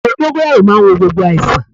Àgbo dóngóyárò màa ń wo gbogbo àìsàn